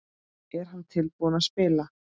Er hann tilbúinn að spila?